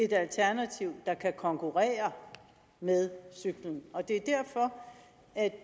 et alternativ der kan konkurrere med cyklen og det